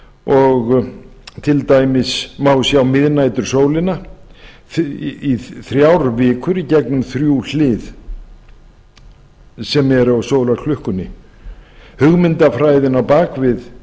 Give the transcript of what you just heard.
og til dæmis má sjá miðnætursólina í þrjár vikur í gegnum þrjú hlið sem eru á sólarklukkunni hugmyndafræðin á bak við